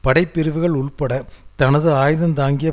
படைப்பிரிவுகள் உட்பட தனது ஆயுதந்தாங்கிய